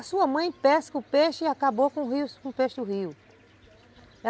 A sua mãe pesca o peixe e acabou com o peixe do rio.